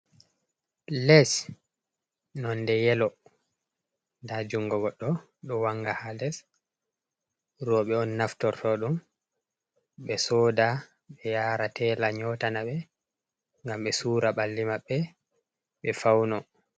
Les non de yelo, nda jungo goɗɗo do wanga ha les, roɓɓe on naftorto ɗum ɓe soda, ɓe yara tela nyotana ɓe ngam be sura balli maɓbe, ɓe fauno.